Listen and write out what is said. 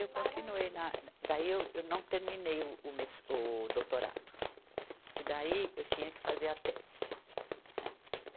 Eu continuei, na, daí eu, eu não terminei o, o mes, o doutorado, que daí eu tinha que fazer a tese, né.